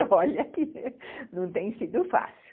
E olha que não tem sido fácil.